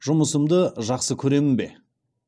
жұмысымды жақсы көремін бе